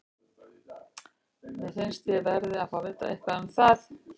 Mér finnst ég verði að fá að vita eitthvað um það.